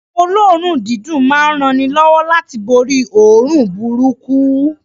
Oun olóòrùn dídùn ma n ranilówó láti borí óòrùn burúkú